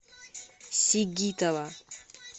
сигитова